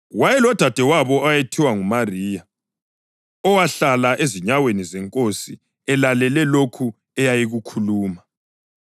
Wayelodadewabo owayethiwa nguMariya, owahlala ezinyaweni zeNkosi elalele lokho eyayikukhuluma.